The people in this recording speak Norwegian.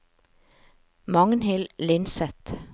Magnhild Lindseth